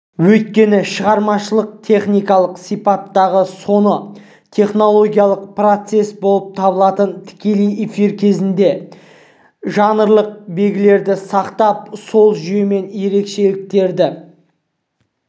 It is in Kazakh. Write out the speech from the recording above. өйткені шығармашылық-техникалық сипаттағы соны технологиялық процесс болып табылатын тікелей эфир кезінде жанрлық белгілерді сақтап сол жүйемен ерекшеліктерді